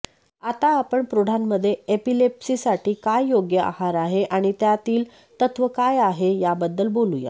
आता आपण प्रौढांमधे एपिलेप्सीसाठी काय योग्य आहार आहे आणि त्यातील तत्त्व काय आहे याबद्दल बोलूया